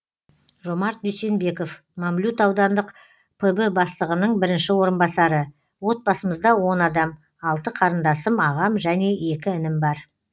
жомарт дүйсенбеков мамлют аудандық пб бастығының бірінші орынбасары отбасымызда он адам алты қарындасым ағам және екі інім бар